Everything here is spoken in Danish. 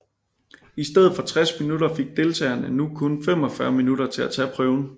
I stedet for 60 minutter fik deltagerne nu kun 45 minutter til at tage prøven